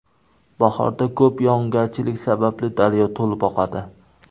Bahorda ko‘p yog‘ingarchilik sababli daryo to‘lib oqadi.